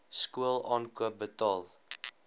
skool aankoop betaal